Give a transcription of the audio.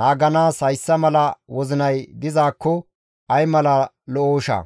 naaganaas hayssa mala wozinay dizaakko ay mala lo7ooshaa!